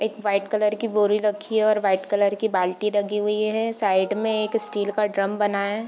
एक white colour की बोरी रखी है और वाइट कलर की बाल्टी लगी हुई है साइड में एक स्टील का ड्रम बना है।